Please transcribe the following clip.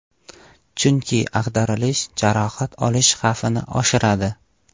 Chunki ag‘darilish jarohat olish xavfini oshiradi.